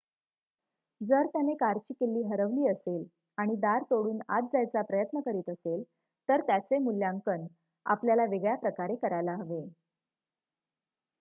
जर त्याने कारची किल्ली हरवली असेल आणि दार तोडून आत जायचा प्रयत्न करीत असेल तर त्याचे मुल्यांकन आपल्याला वेगळ्या प्रकारे करायला हवे